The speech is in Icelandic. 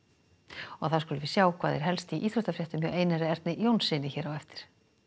og þá skulum við sjá hvað er helst í íþróttafréttum hjá Einar Erni Jónssyni hér á eftir